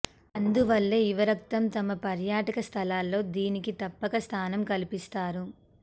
అందువల్లే యువరక్తం తమ పర్యాటక స్థలాల్లో దీనికి తప్పక స్థానం కల్పిస్తారు